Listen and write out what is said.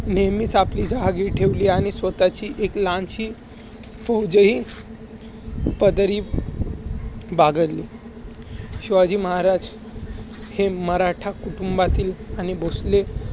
नेहमीच आपली जहागिरी ठेवली आणि स्वतःची एक लहानशी फौजही पदरी बागळली. शिवाजी महाराज हे मराठा कुटुंबातील आणि भोसले